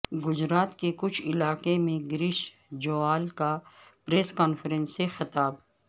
گجرات کے کچھ علاقے میں گریش جویال کا پریس کانفرنس سے خطاب